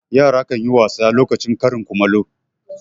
Yara kan yi wasa lokacin karin kumallo.